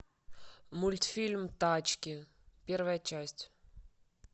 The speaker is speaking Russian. мультфильм тачки первая часть